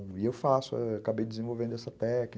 E eu faço, acabei desenvolvendo essa técnica.